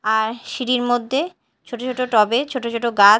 আর সিঁড়ির মদ্যে ছোট ছোট টব -এ ছোট ছোট গা--